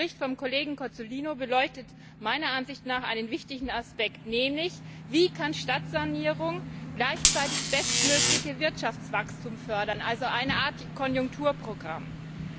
Der Bericht des Kollegen Cozzolino beleuchtet meiner Ansicht nach einen wichtigen Aspekt, nämlich Wie kann Stadtsanierung gleichzeitig bestmöglich das Wirtschaftswachstum fördern, also als eine Art Konjunkturprogramm fungieren?